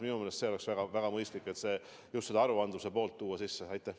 Minu meelest oleks väga mõistlik just seda aruandluse poolt silmas pidada.